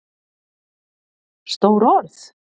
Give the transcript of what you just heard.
Stór orð?